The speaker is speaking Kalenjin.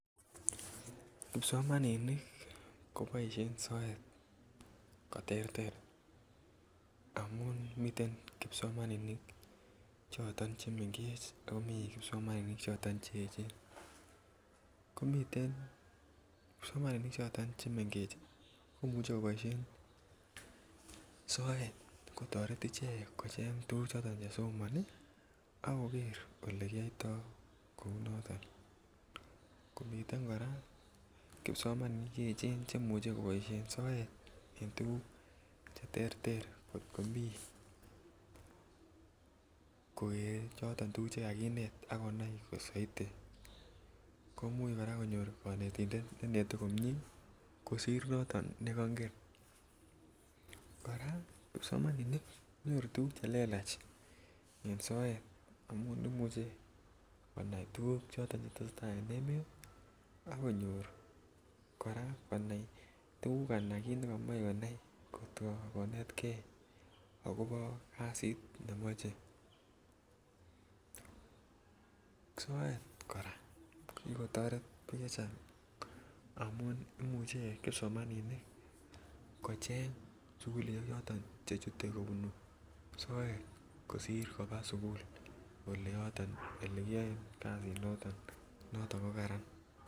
Kipsomaninik koboishen soet koterer amun miten kipsomaninik choton che mengech ako mii kipsomaninik choton che echen, komiten kipsomaninik choton chebo che mengech komuche koboishen soet kotoret ichek kocheng tuguk choton che somoni ak koger ole kiyoito kouu noton, komiten koraa kipsomaninik che echen chemuche koboishen soet en tuguk che terter kot komii koger tuguk choton che kakinet ak konai soiti komuch koraa konyor konetindet ne inete komie kosir noton ne kongen , koraa kipsomaninik konyoru tuguk che lelach en soet amun imuche konai tuguk choton che tesetai en emet ak konyor koraa konai tuguk anan kii nekomoi konai kot ko konetkei akobo kazit ne moche. Soet koraa kokigo toret biik chechang amun imuche kipsomaninik kocheng sukulishek choton che chute kobunu soet kosir kobaa sukul ole yoton kiyoen kazi noton, noton ko Karan